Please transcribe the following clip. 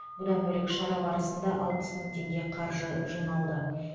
бұдан бөлек шара барысында алпыс мың теңге қаржы жиналды